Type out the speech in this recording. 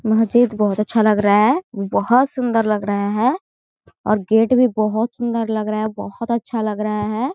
माजिद बहोत अच्छा लग रहा है बहोत सुन्दर लग रहे है और गेट भी बहोत सुन्दर लग रहे है बहोत अच्छा लग रहे है ।